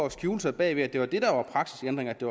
at skjule sig bag ved at det var det der var praksisændring at det